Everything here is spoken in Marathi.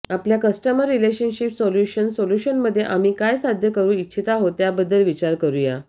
आपल्या कस्टमर रिलेशनशिप सोल्यूशन्स सोल्युशनमध्ये आम्ही काय साध्य करू इच्छित आहोत त्याबद्दल विचार करूया